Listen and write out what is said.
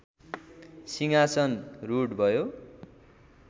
सिंहासन रूढ भयो